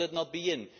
Will it not be in?